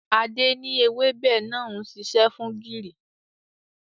Adé ni èwebẹ̀ náà ń ṣiṣẹ́ fún gìrì.